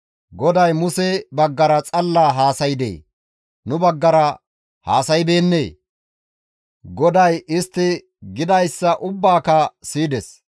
«GODAY Muse baggara xalla haasaydee? Nu baggara haasaybeennee?» GODAY istti gidayssa ubbaaka siyides.